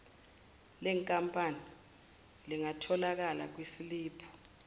lenkampani lingatholakala kwisiliphu